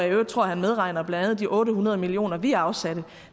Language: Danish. i øvrigt tror han medregner blandt andet de otte hundrede million kr vi afsatte